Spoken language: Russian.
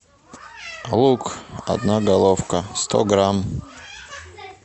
лук одна головка сто грамм